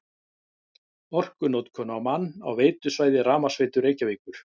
Orkunotkun á mann á veitusvæði Rafmagnsveitu Reykjavíkur